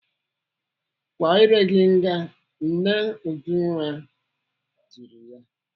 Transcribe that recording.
"Kwaa iré gị nga!" Nne Ujunwa tiri ya.